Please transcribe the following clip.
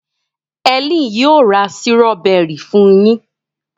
Helen yíò ra Sírọ́bẹ́rì fún yín.